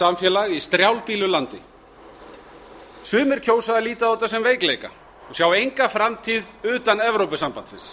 samfélag í strjálbýlu landi sumir kjósa að líta á þetta sem veikleika og sjá enga framtíð utan evrópusambandsins